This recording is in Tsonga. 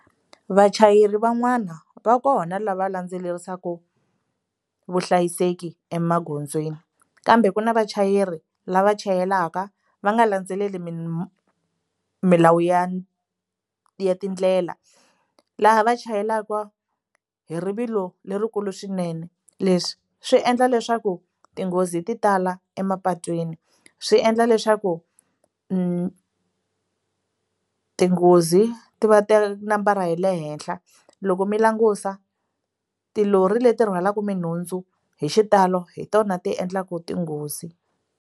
Vachayeri van'wana va kona lava landzelerisaka vuhlayiseki emagondzweni kambe ku na vachayeri lava chayelaka va nga landzeleli milawu ya ya tindlela laha va chayelaka hi rivilo lerikulu swinene leswi swi endla leswaku tinghozi ti tala emapatwini swi endla leswaku tinghozi ti va ti ri nambara ya le henhla loko mi langusa tilori leti rhwalaka minhundzu hi xitalo hi tona ti endlaka tinghozi.